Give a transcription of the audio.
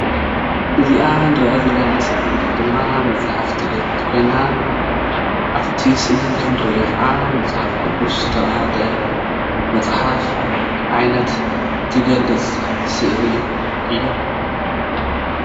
እዚኣ እንርእያ ዘለና ስእሊ ድማ መፅሓፍ ትገልፅ ኮይና ኣብቲ ስእሊ ከም እንርኦ ካዓ መፅሓፍ ቅዱስ ዝተበሃለ መፅሓፍ ዓይነት ትገልፅ ስእሊ እያ።